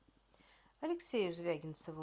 алексею звягинцеву